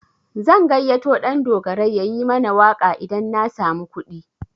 Zan gayyato Ɗandogarai yayi mana waƙa idan na samu kuɗi.